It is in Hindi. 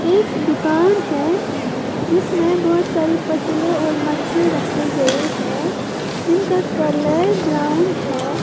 एक दुकान है जिसमें बहोत सारे पतले और मटके रखे गए है जिनका कलर ब्राउन है।